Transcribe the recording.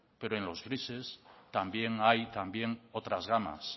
pero en los grises también hay también otras gamas